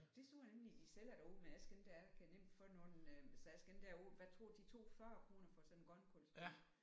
Det tror jeg nemlig de sælger derude men jeg skal ikke der jeg kan nemt få nogle så jeg skal ikke derud hvad tror de tog 40 kroner for sådan en grønkålsplante